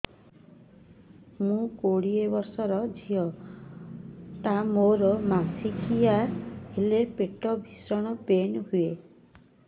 ମୁ କୋଡ଼ିଏ ବର୍ଷର ଝିଅ ଟା ମୋର ମାସିକିଆ ହେଲେ ପେଟ ଭୀଷଣ ପେନ ହୁଏ